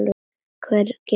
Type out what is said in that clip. Hverjum er þetta að kenna?